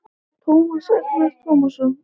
Tómas Agnar Tómasson